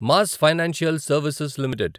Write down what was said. mass financial services limited